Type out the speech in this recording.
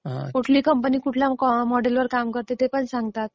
कुठली कंपनी कुठल्या मॉडेल वर काम करते ते पण सांगतात.